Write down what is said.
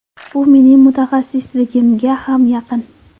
Bu mening mutaxassisligimga ham yaqin.